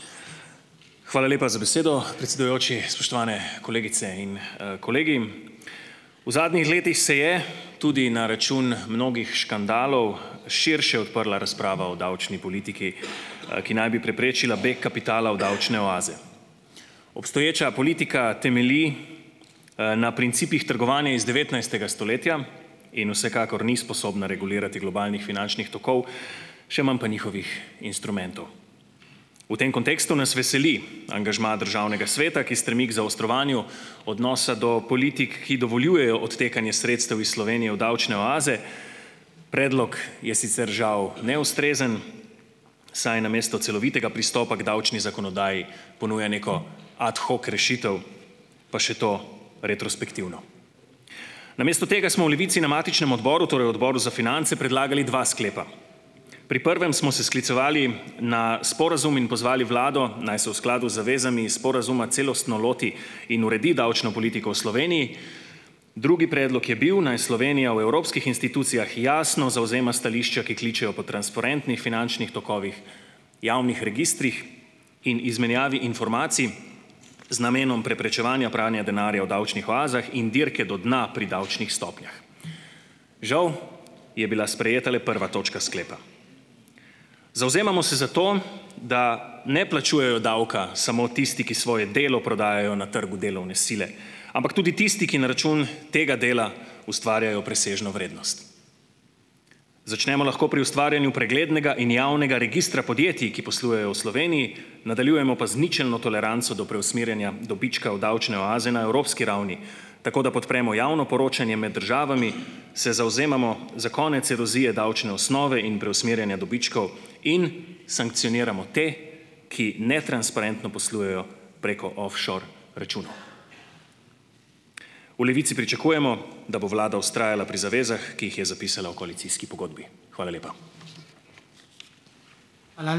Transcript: Hvala lepa za besedo, predsedujoči. Spoštovane kolegice in, kolegi. V zadnjih letih se je tudi na račun mnogih škandalov širše odprla razprava o davčni politiki, ki naj bi preprečila beg kapitala v davčne oaze. Obstoječa politika temelji, na principih trgovanja iz devetnajstega stoletja in vsekakor ni sposobna regulirati globalnih finančnih tokov, še manj pa njihovih instrumentov. V tem kontekstu nas veseli angažma Državnega sveta, ki stremi k zaostrovanju odnosa do politik, ki dovoljujejo odtekanje sredstev iz Slovenije v davčne oaze. Predlog je sicer žal neustrezen, saj namesto celovitega pristopa k davčni zakonodaji ponuja neko ad hoc rešitev, pa še to retrospektivno. Namesto tega smo v Levici na matičnem odboru, torej Odboru za finance, predlagali dva sklepa. Pri prvem smo se sklicevali na sporazum in pozvali vlado, naj se v skladu z zavezami iz sporazuma celostno loti in uredi davčno politiko v Sloveniji. Drugi predlog je bil, naj Slovenija v evropskih institucijah jasno zavzema stališča, ki kličejo po transparentnih finančnih tokovih, javnih registrih in izmenjavi informacij z namenom preprečevanja pranja denarja o davčnih oazah in dirke do dna pri davčnih stopnjah. Žal je bila sprejeta le prva točka sklepa. Zavzemamo se za to, da ne plačujejo davka samo tisti, ki svoje delo prodajajo na trgu delovne sile, ampak tudi tisti, ki na račun tega dela ustvarjajo presežno vrednost. Začnemo lahko pri ustvarjanju preglednega in javnega registra podjetij, ki poslujejo v Sloveniji, nadaljujemo pa z ničelno toleranco do preusmerjanja dobička v davčne oaze na evropski ravni, tako da podpremo javno poročanje med državami, se zavzemamo za konec erozije davčne osnove in preusmerjanja dobičkov in sankcioniramo te, ki netransparentno poslujejo preko offshore računov. V Levici pričakujemo, da bo vlada vztrajala pri zavezah, ki jih je zapisala v koalicijski pogodbi. Hvala lepa.